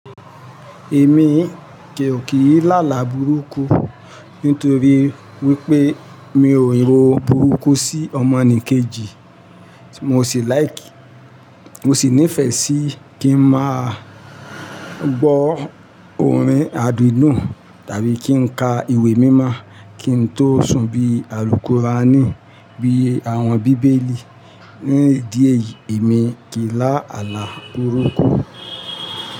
Èmi òkí í láàlá burúkú nítorí wípé mi ò rò burúkú sí ọmọnìkejì, mo sì like, mo sì nífẹ̀ẹ́ sí kí ń máa gbọ́ orin àdídùn tàbí kí n ka ìwé mímọ́ kí n tó sùn bí àlùkùránì, bí àwọn bíbélì. Ní ìdí èyí, èmi kì í lá àlá burúkú.